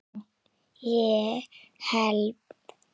ég held